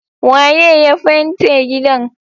Waye ya fente gidan?